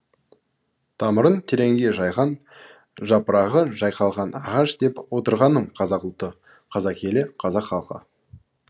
тамырын тереңге жайған жапырағы жайқалған ағаш деп отырғаным қазақ ұлты қазақ елі қазақ халқы